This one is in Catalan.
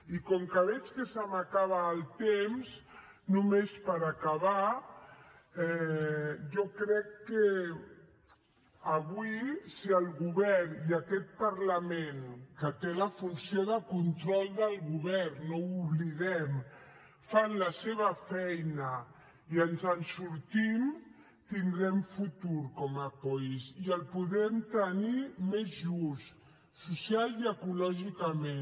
i com que veig que se m’acaba el temps només per acabar jo crec que avui si el govern i aquest parlament que té la funció de control del govern no ho oblidem fan la seva feina i ens en sortim tindrem futur com a país i el podrem tenir més just socialment i ecològicament